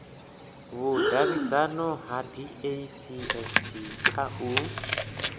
vhudavhidzano ha dacst kha u